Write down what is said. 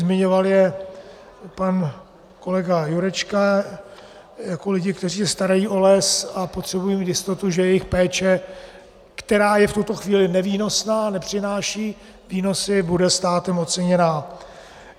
Zmiňoval je pan kolega Jurečka jako lidi, kteří se starají o les a potřebují mít jistotu, že jejich péče, která je v tuto chvíli nevýnosná, nepřináší výnosy, bude státem oceněna.